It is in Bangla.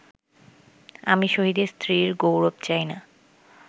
আমি শহীদের স্ত্রীর গৌরব চাই না